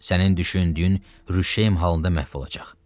Sənin düşündüyün rüşeym halında məhv olacaq.